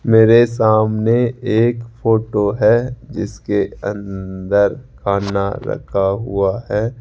मेरे सामने एक फोटो हैं जिसके अंदर खाना रखा हुआ हैं।